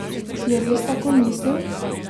Je res tako mislil?